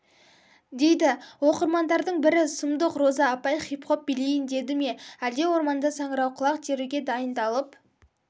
дейді оқырмандардың бірі сұмдық роза апай хип-хоп билейін деді ме әлде орманда саңырауқұлақ теруге дайындалып